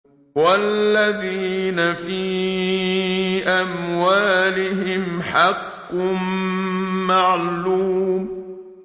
وَالَّذِينَ فِي أَمْوَالِهِمْ حَقٌّ مَّعْلُومٌ